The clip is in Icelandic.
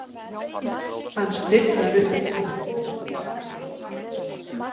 Hann stirðnar upp.